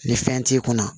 Ni fɛn t'i kunna